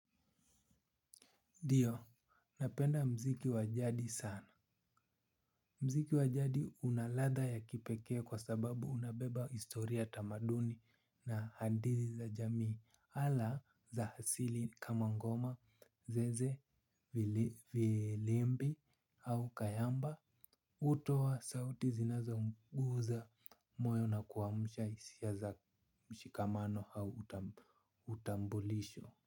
Ndiyo napenda mziki wajadi sana. Mziki wajadi unaladha ya kipekee kwa sababu unabeba hustoria tamaduni na hadithi za jamii ala za hasili kama ngoma zeze vilimbi au kayamba utowa sauti zinazo mguza moyo na kuamusha hisia za mshikamano au utambulisho.